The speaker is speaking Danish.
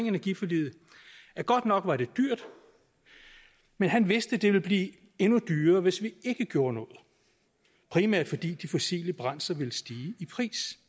energiforliget at godt nok var det dyrt men at han vidste det ville blive endnu dyrere hvis vi ikke gjorde noget primært fordi de fossile brændsler ville stige i pris